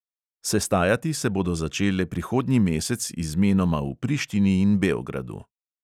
Sestajati se bodo začele prihodnji mesec izmenoma v prištini in beogradu.